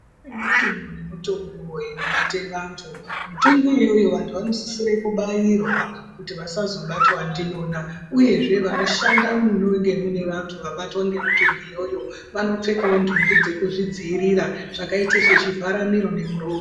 Kune mitungu nemitungu inobate vantu mitungu iyoyo vantu vanosisire kubairwa kuti vantu vasazobatwe ndiyona, uyezve vanoshanda mune vantu vabatwa ngemitungu iyoyo vanopfekavo nhumbi dzekuzvidzivirira zvakaita sezvivhara miro nemuromo.